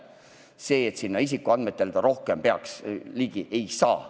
Rohkematele isikuandmetele ta ligi ei saa.